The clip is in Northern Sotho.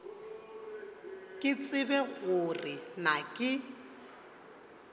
ke tsebe gore na ke